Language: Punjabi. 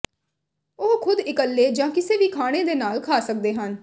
ਉਹ ਖੁਦ ਇਕੱਲੇ ਜਾਂ ਕਿਸੇ ਵੀ ਖਾਣੇ ਦੇ ਨਾਲ ਖਾ ਸਕਦੇ ਹਨ